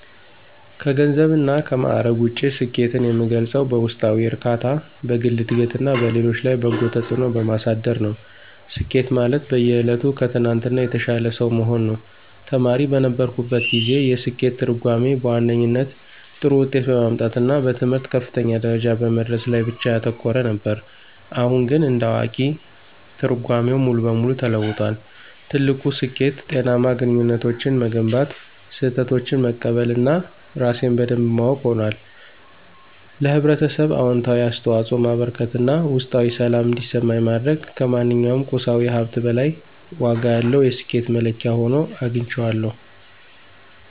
ከገንዘብና ከማዕረግ ውጪ፣ ስኬትን የምገልጸው በውስጣዊ እርካታ፣ በግል ዕድገትና በሌሎች ላይ በጎ ተጽዕኖ በማሳደር ነው። ስኬት ማለት በየዕለቱ ከትናንትናው የተሻለ ሰው መሆን ነው። ተማሪ በነበርኩበት ጊዜ፣ የስኬት ትርጉሜ በዋነኛነት ጥሩ ውጤት በማምጣትና በትምህርት ከፍተኛ ደረጃ በመድረስ ላይ ብቻ ያተኮረ ነበር። አሁን ግን እንደ አዋቂ፣ ትርጓሜው ሙሉ በሙሉ ተለውጧል። ትልቁ ስኬት ጤናማ ግንኙነቶችን መገንባት፣ ስህተቶችን መቀበል እና ራሴን በደንብ ማወቅ ሆኗል። ለኅብረተሰብ አዎንታዊ አስተዋጽኦ ማበርከት እና ውስጣዊ ሰላም እንዲሰማኝ ማድረግ ከማንኛውም ቁሳዊ ሀብት በላይ ዋጋ ያለው የስኬት መለኪያ ሆኖ አግኝቼዋለሁ።